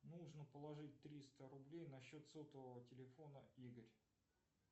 нужно положить триста рублей на счет сотового телефона игорь